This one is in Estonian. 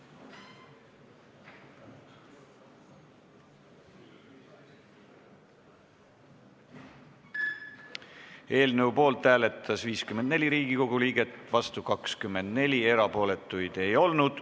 Hääletustulemused Eelnõu poolt hääletas 54 Riigikogu liiget, vastu 24, erapooletuid ei olnud.